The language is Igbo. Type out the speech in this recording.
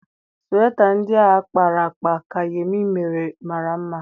Sweta ndị ahụ a kpara akpa nke Yemi mere mara mma.